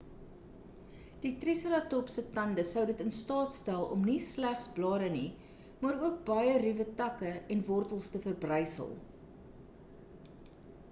die triseratops se tande sou in dit in staat stel om nie slegs blare nie maar ook baie ruwe takke en wortels te verbrysel